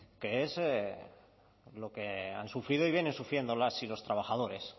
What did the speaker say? que es lo que han sufrido y vienen sufriendo las y los trabajadores